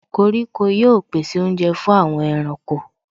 Koríko yóò pèsè oúnjẹ fún àwọn ẹranko.